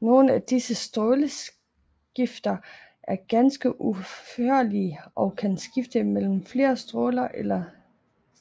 Nogle af disse stråleskifter er ganske udførlige og kan skifte mellem flere stråler eller